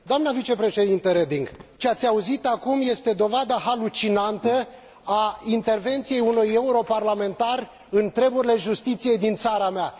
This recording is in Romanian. Doamnă vicepreședintă Reding, ceea ce ați auzit acum este dovada halucinantă a intervenției unui europarlamentar în treburile justiției din țara mea.